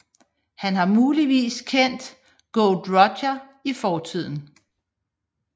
Han har muligvis kendt Gold Roger i fortiden